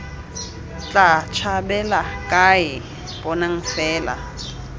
tla tshabela kae bonang fela